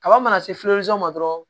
Kaba mana se ma dɔrɔn